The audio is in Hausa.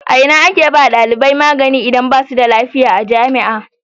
A ina ake ba wa dalibai magani idan basu da lafiya a jami'a?